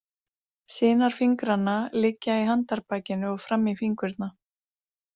Sinar fingranna liggja í handarbakinu og fram í fingurna.